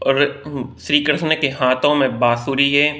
और श्री कृष्ण के हाथों में बांसुरी है।